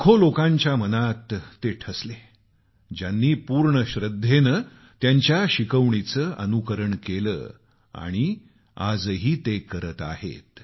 ते लाखो लोकांच्या मनात ठसले ज्यांनी पूर्ण श्रद्धेनं त्यांच्या शिकवणीचं अनुसरण केलं आणि आजही करत आहेत